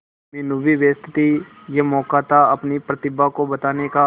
मीनू भी व्यस्त थी यह मौका था अपनी प्रतिभा को बताने का